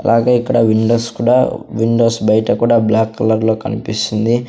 అలాగే ఇక్కడ విండోస్ కూడా విండోస్ బైట కూడా బ్లాక్ కలర్లో కన్పిస్తుంది.